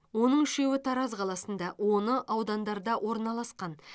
оның үшеуі тараз қаласында оны аудандарда орналасқан